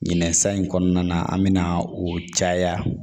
Ɲinɛ sa in kɔnɔna na an bɛ na o caya